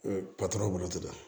patɔrɔn bolo